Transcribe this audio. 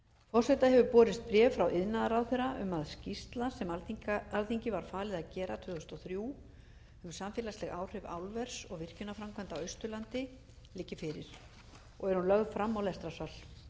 forseta hefur borist bréf frá iðnaðarráðherra um að skýrsla sem alþingi var falið að gera tvö þúsund og þrjú um samfélagsleg áhrif álvers og virkjunarframkvæmda á austurlandi liggi fyrir er hún lögð fram á lestrarsal